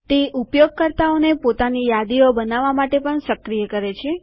તે ઉપયોગકર્તાઓને પોતાની યાદીઓ બનાવવા માટે પણ સક્રિય કરે છે